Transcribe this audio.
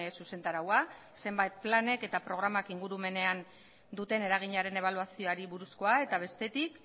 zuzentaraua zenbait planek eta programak ingurumenean duten eraginaren ebaluazioari buruzkoa eta bestetik